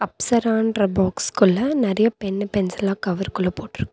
அப்சரான்ற பாக்ஸுக்குள்ள நறையா பென்னு பென்சில்லா கவர் குள்ள போட்டுருக்--